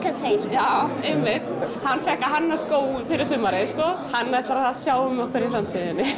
já líka einmitt hann fékk að hanna skó fyrir sumarið sko hann ætlar að sjá um okkur í framtíðinni